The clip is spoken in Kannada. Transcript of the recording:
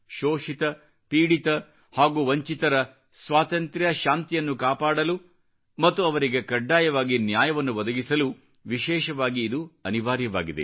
ಶೋಷಿತ ಪೀಡಿತ ಹಾಗೂ ವಂಚಿತರ ಸ್ವಾತಂತ್ರ್ಯ ಶಾಂತಿಯನ್ನು ಕಾಪಾಡಲು ಮತ್ತು ಅವರಿಗೆ ಕಡ್ಡಾಯವಾಗಿ ನ್ಯಾಯವನ್ನು ಒದಗಿಸಲು ವಿಶೇಷವಾಗಿ ಇದು ಅನಿವಾರ್ಯವಾಗಿದೆ